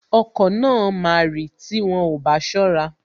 Okọ̀ náà máa rì tí wọn ò bá ṣọ́ra